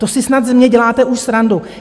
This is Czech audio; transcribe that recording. To si snad ze mě děláte už srandu.